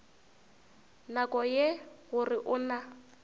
nako ye gore o na